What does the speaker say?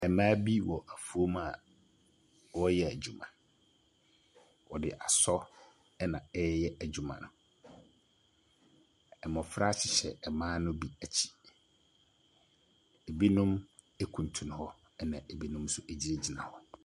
Mmaa bi wɔ afuom a wɔreyɛ adwuma. Wɔde asɔ ɛna ɛreyɛ adwuma no. Mmofra hyehyɛ mmaa no bi akyi. Ebinom ekuntun hɔ, na ebinom nso gyinagyina hɔ.